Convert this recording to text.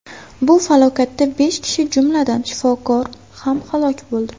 Bu falokatda besh kishi, jumladan, shifokor ham halok bo‘ldi.